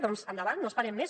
doncs endavant no esperem més